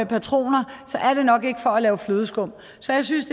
patroner er det nok ikke for at lave flødeskum så jeg synes